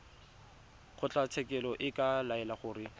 kgotlatshekelo e ka laela gore